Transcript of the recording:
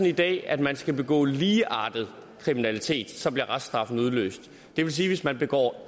i dag at man skal begå ligeartet kriminalitet og så bliver reststraffen udløst det vil sige at hvis man begår